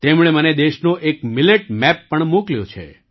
તેમણે મને દેશનો એક મિલેટ મેપ પણ મોકલ્યો છે